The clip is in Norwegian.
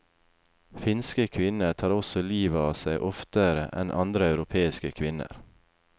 Finske kvinner tar også livet av seg oftere enn andre europeiske kvinner.